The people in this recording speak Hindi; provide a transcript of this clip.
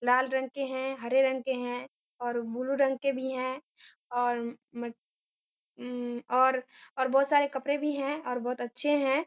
लाल रंग के हैं हरे रंग के हैं और ब्लू रंग के भी हैं और उम्म और और बहुत सारे कपड़े भी हैं और बहुत अच्छे हैं।